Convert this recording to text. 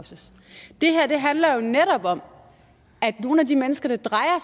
og det handler jo netop om at nogle af de mennesker det drejer